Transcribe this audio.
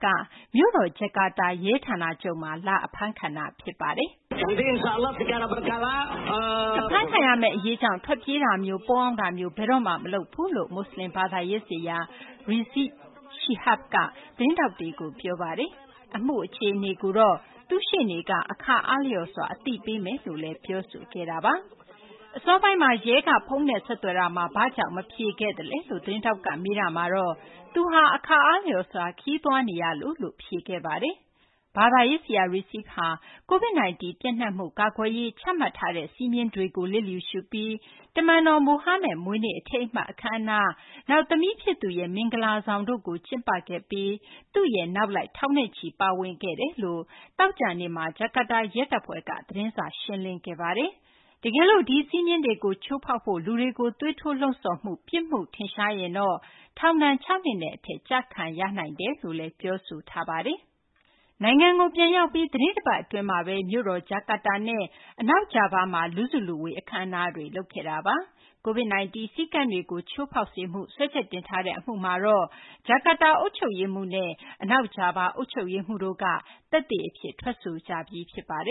က မြို့တော် ဂျကာတာက ရဲဌာနချုပ်မှာ လာအဖမ်းခံတာ ဖြစ်ပါတယ်။ “အဖမ်းခံရမယ့် အရေးကြောင့် ထွက်ပြေးတာမျိုး၊ ပုန်းအောင်းတာမျိုး ဘယ်တော့မှ မလုပ်ဘူး” လို့ မွတ်စလင်ဘာသာရေးဆရာ Rizieq Shihab က သတင်းထောက်တွေကို ပြောပါတယ်။ အမှုအခြေအနေကို သူ့ရှေ့နေက အခါအားလျော်စွာ အသိပေးသွားမယ်လို့လည်း ပြောဆိုခဲ့ပါတယ်။ အစောပိုင်းမှာ ရဲက ဖုန်းနဲ့ဆက်သွယ်တာမှာ ဘာကြောင့် မဖြေခဲ့သလဲလို့ သတင်းထောက်က မေးတာမှာတော့ သူက အခါအားလျော်စွာ ခရီးသွားနေလို့လို့ ဖြေခဲ့ပါတယ်။ ဘာသာရေးဆရာ Rizieq ဟာ COVID-19 ပျံ့နှံ့မှု ကာကွယ်ရေး ချမှတ်ထားတဲ့ စည်းမျဉ်းကို လျစ်လျူရှုပြီး တမန်တော်မိုဟာမက်မွေးနေ့ အထိမ်းအမှတ် အခမ်းအနား၊ နောက် သမီးဖြစ်သူရဲ့ မင်္ဂလာဆောင်တို့ကို ကျင်းပခဲ့ပြီး သူ့ရဲ့ နောက်လိုက် ထောင်နဲ့ချီ ပါဝင်ခဲ့တယ်လို့ သောကြာနေ့မှာ ဂျကာတာရဲတပ်ဖွဲ့က သတင်းစာ ရှင်းလင်းခဲ့ပါတယ်။ တကယ်လို့ ဒီစည်းမျဉ်းတွေကို ချိုးဖောက်ဖို့ လူတွေကို သွေးထိုးလှုံ့ဆော်မှု ပြစ်မှုထင်ရှားတွေ့ရင်တော့ ထောင်ဒဏ် ၆ နှစ်နဲ့အထက် ကျခံရနိုင်တယ်လို့လည်း ပြောဆိုထားပါတယ်။ နိုင်ငံကိုပြန်ရောက်ပြီး သီတင်းတပတ် အတွင်းမှာပဲ မြို့တော် ဂျကာတာနဲ့ အနောက်ဂျာဗားမှာ လူစုလူဝေး အခမ်းအနားတွေ လုပ်ခဲ့တာပါ။ COVID-19 စည်းကမ်းတွေကို ချိုးဖောက်စေမှု စွဲချက်တင်တဲ့ အမှုမှာတော့ ဂျကာတာ အုပ်ချုပ်ရေးမှူးနဲ့ အနောက်ဂျာဗား အုပ်ချုပ်ရေးမှူးတို့က သက်သေအဖြစ် ထွက်ဆိုကြပြီး ဖြစ်ပါတယ်